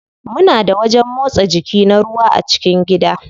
Muna da wajen motsa jiki na ruwa a cikin gida.